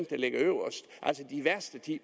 der ligger øverst altså de værste ti